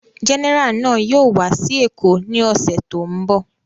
Gẹ́nẹrà náà yóò wá sí Èkó ní ọ̀sẹ̀ tó ń bọ̀.